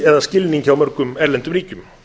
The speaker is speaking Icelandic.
eða skilning hjá mörgum erlendum ríkjum